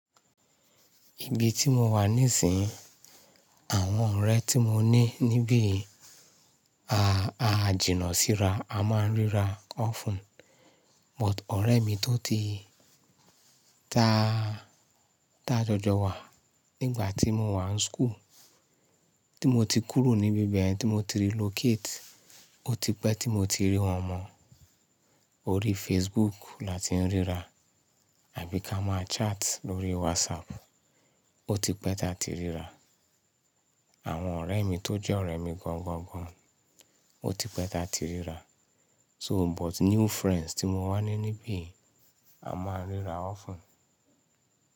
Ibi tí mo wà níìsín, àwọn ọ̀rẹ́ tí mo ní níbí a jìnà sí ra, a máa ń ríra often. But ọ̀rẹ́ mi tó ti ta tajọjọ wà nígbà tí mo wà ní school, tí mo ti kúrò níbi bẹ̀yẹn tí mo ti relocate, ó ti pẹ́ tí mo ti rí wọn mọ́. Orí Facebook la ti ń ríra àbí ka máa chat lórí WhatsApp, ó ti pẹ́ tí a ti ríra. Àwọn ọ̀rẹ́ mi tó jẹ́ ọ̀rẹ́ mi gọ̀ńgọ̀ńgọ̀ń, ó ti pẹ́ tí a ti ríra. So but new friends tí mo wà ní níbí a máa ń ríra often.